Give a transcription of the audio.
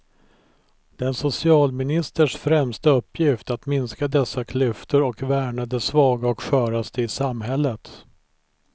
Det är en socialministers främsta uppgift att minska dessa klyftor och värna de svaga och sköraste i samhället.